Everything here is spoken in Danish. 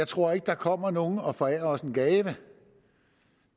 tror at der kommer nogen og forærer os en gave